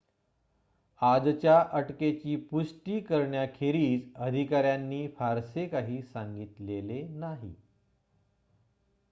आजच्या अटकेची पुष्टि करण्याखेरीज अधिकाऱ्यांनी फारसे काही सांगितले नाही